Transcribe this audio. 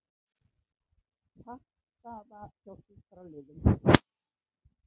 Pattstaða hjá sjúkraliðum